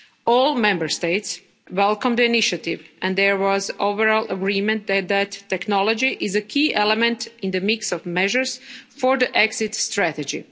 All Member States welcomed the initiative and there was overall agreement that this technology is a key element in the mix of measures for the exit strategy.